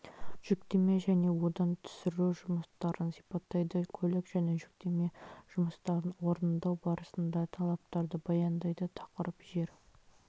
жүктеме және одан түсіру жұмыстарын сипаттайды көлік және жүктеме жұмыстарын орындау барысында талаптарды баяндайды тақырып жер